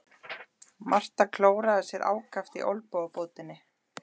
Marta klóraði sér ákaft í olnbogabótinni.